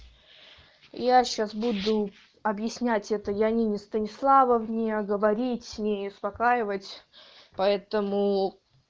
я сейчас буду объяснять это леониде станиславовне говорить с ней успокаивать поэтому